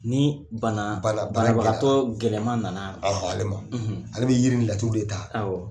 Ni bana bana banabagatɔ gɛlɛman nana ale ma ale bɛ yiri ni laturu de ta